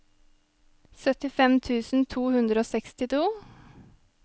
syttifem tusen to hundre og sekstito